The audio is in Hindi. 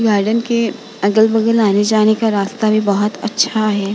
गार्डन के अगल-बगल आने-जाने का रास्ता भी बोहोत अच्छा है।